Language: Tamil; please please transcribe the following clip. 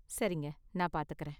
சரிங்க, நான் பாத்துக்கறேன்.